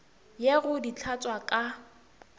ye go di hlatswa ka